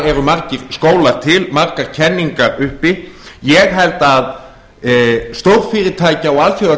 eru margir skólar til margar kenningar uppi ég held að stórfyrirtæki og